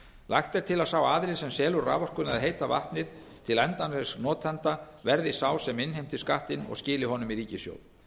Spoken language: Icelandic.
lagt er til að sá aðili sem selur raforkuna eða heita vatnið til endanlegs notanda verði sá sem innheimtir skattinn og skili honum í ríkissjóð